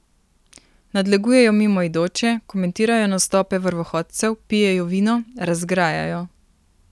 Nadlegujejo mimoidoče, komentirajo nastope vrvohodcev, pijejo vino, razgrajajo.